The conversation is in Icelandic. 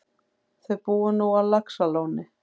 Þau búa nú á Laxalóni.